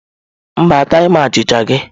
Mba, ataghi m achịcha gị.